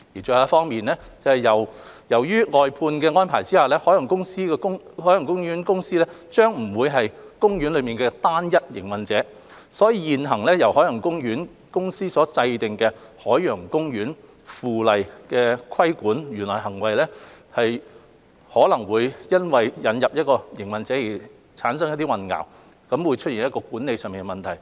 最後，由於在外判安排下，海洋公園公司將不再是海洋公園的單一營運者，所以現行由海洋公園公司制定的《海洋公園附例》規管園內行為，可能會因為引入營運者而產生混淆，出現管理上的問題。